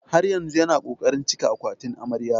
Har yanzu yana ƙoƙarin cika akwatin amarya.